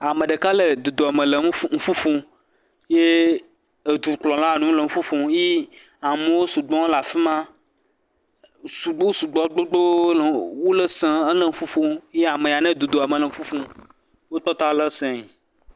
Ame ɖeka le dodoame le nuƒo ƒom ye dukplɔla le nuƒo ƒom, ye amewo sugbɔ le afi ma, wosugbɔ gbogbo le wole sem ya ame yi…